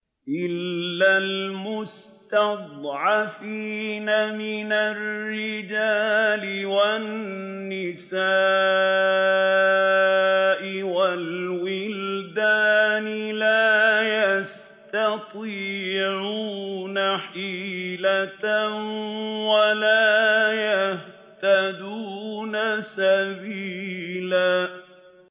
إِلَّا الْمُسْتَضْعَفِينَ مِنَ الرِّجَالِ وَالنِّسَاءِ وَالْوِلْدَانِ لَا يَسْتَطِيعُونَ حِيلَةً وَلَا يَهْتَدُونَ سَبِيلًا